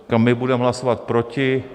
Říkám, my budeme hlasovat proti.